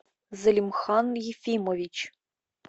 залимхан ефимович